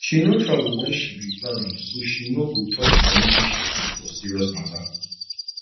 she no travel when she be plan am so she no go touch money wey she keep for serious matter